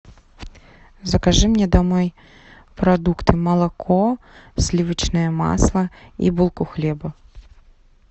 закажи мне домой продукты молоко сливочное масло и булку хлеба